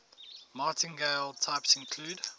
martingale types include